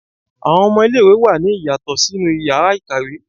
Awọn ọmọ ile-iwe wa ní iyasotọ sinú íyarà ikáwe